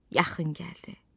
Yaxın gəldi.